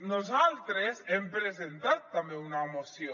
nosaltres hem presentat també una moció